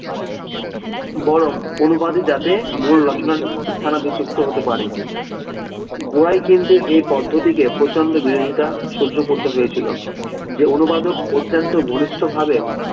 বরং অনুবাদই যাতে মূল রচনার স্থানাভিষিক্ত হতে পারে, গোয়াই কিন্তু এই পদ্ধতিকে প্রচণ্ড বিরোধিতা সহ্য করতে হয়েছিল যে অনুবাদক অত্যন্ত ঘনিষ্টভাবে